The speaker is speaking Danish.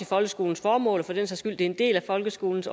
folkeskolens formål og for den også som en del af folkeskolens